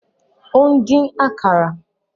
Ó ń dín àkàrà